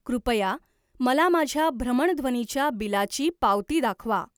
कृपया मला माझ्या भ्रमणध्वनी च्या बिलाची पावती दाखवा.